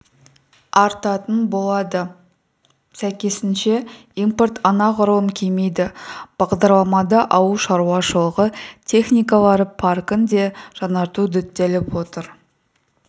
арттатын болады сәйкесінше импорт анағұрлым кемиді бағдарламада ауыл шаруашылығы техникалары паркін де жаңарту діттеліп отыр